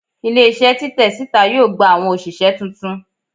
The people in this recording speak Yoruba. Ile-iṣẹ titẹ sita yoo gba awọn oṣiṣẹ tuntun